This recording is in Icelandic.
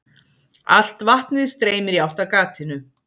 Allt vatnið streymir í átt að gatinu.